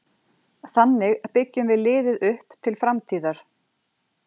Þannig byggjum við liðið upp til framtíðar.